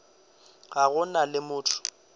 ga go na le motho